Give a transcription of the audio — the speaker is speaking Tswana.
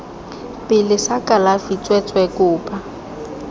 pele sa kalafi tsweetswee kopa